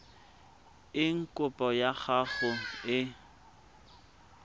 eng kopo ya gago e